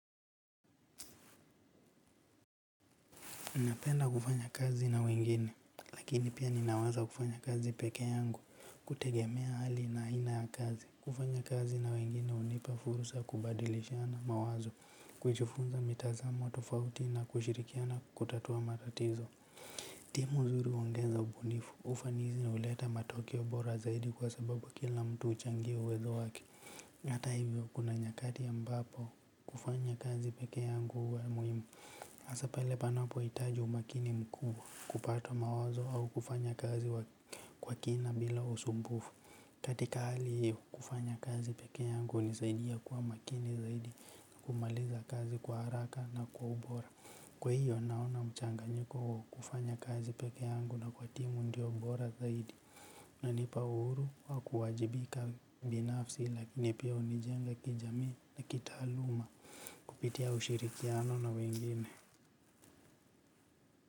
Ninapenda kufanya kazi na wengine lakini pia ninaweza kufanya kazi pekeyangu kutegemea hali na ina ya kazi. Kufanya kazi na wengine hunipa fursa kubadilishana mawazo kujufunza mitazamo tofauti na kushirikiana kutatua matatizo. Timu nzuri huongenza ubunifu ufanizi uleta matokio bora zaidi kwa sababu kila mtu uchangia uwezo waki hata hivyo kuna nyakati ambapo kufanya kazi pekeyangu huwa muhimu hasa pale panapoitaji umakini mkuu kupata mawazo au kufanya kazi kwa kina bila usumbufu. Katika hali hiyo kufanya kazi peke yangu hunisaidia kuwa makini zaidi na kumaliza kazi kwa haraka na kwa ubora. Kwa iyo naona mchanganyiko wa kufanya kazi pekeyangu na kwa timu ndiyo bora zaidi unanipa uhuru wa kuwajibika binafsi lakini pia unijenga kijamii na kitaaluma. Kupitia ushirikiano na wengine.